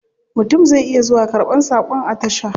Mutum zai iya zuwa karban sakon a tasha.